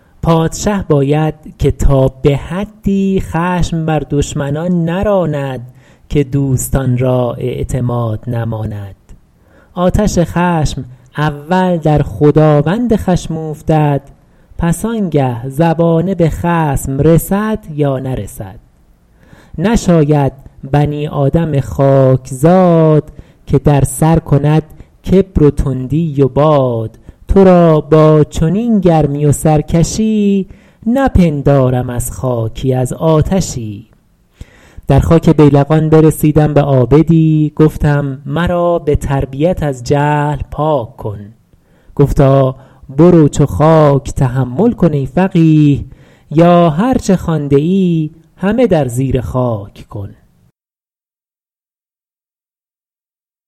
پادشه باید که تا به حدی خشم بر دشمنان نراند که دوستان را اعتماد نماند آتش خشم اول در خداوند خشم اوفتد پس آنگه زبانه به خصم رسد یا نرسد نشاید بنی آدم خاکزاد که در سر کند کبر و تندی و باد تو را با چنین گرمی و سرکشی نپندارم از خاکی از آتشی در خاک بیلقان برسیدم به عابدی گفتم مرا به تربیت از جهل پاک کن گفتا برو چو خاک تحمل کن ای فقیه یا هر چه خوانده ای همه در زیر خاک کن